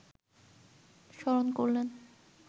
স্মরণ করলেন